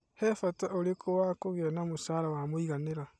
He bata ũrĩkũ wa kũgĩa na mũcara wa mũiganĩra?